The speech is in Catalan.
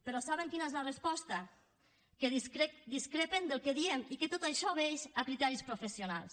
però saben quina és la resposta que discrepen del que diem i que tot això obeeix a criteris professionals